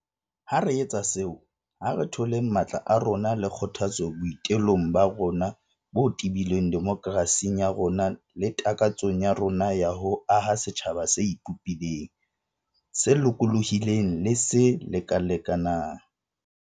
Ha re etsa seo, ha re tholeng matla a rona le kgothatso boi telong ba rona bo tebileng demokerasing ya rona le takatsong ya rona ya ho aha setjhaba se ipopileng, se lokolohileng le se lekalekanang.